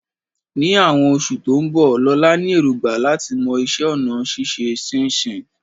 Ní àwọn oṣù tó ń bọ̀, Lola ní èrògbà láti mọ iṣẹ́ ọnà ṣíṣe ṣínṣìn